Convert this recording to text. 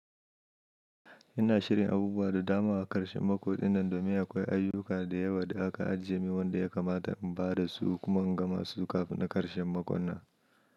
Ina shirin abubuwa da dama a ƙarshen makon dinnan domin akwai ayyuka da yawa da aka ajiye min wanda ya kamata in badasu kuma in gamasu kafin ƙarshen makonnan.